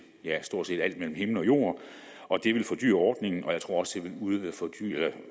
ja stort set alt mellem himmel og jord det ville fordyre ordningen og jeg tror også det ville